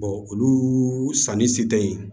olu sanni si tɛ yen